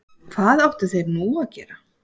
Hvað áttu þeir nú að gera?